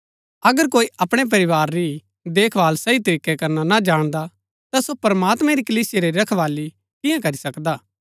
अगर कोई अपणै परिवार री ही देखभाल सही तरीकै करना ना जाणदा ता सो प्रमात्मैं री कलीसिया री रखवाली किआं करी सकदा हा